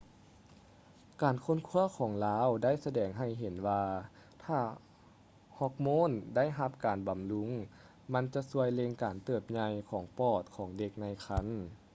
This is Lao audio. ການຄົ້ນຄວ້າຂອງລາວໄດ້ສະແດງໃຫ້ເຫັນວ່າຖ້າຮອກໂມນໄດ້ຮັບການບຳລຸງ ມັນຈະຊ່ວຍເລັ່ງການເຕີບໃຫຍ່ຂອງປອດຂອງເດັກໃນຄັນ